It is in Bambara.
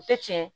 U tɛ tiɲɛ